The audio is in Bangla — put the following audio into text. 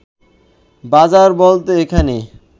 বাজার বলতে এখানে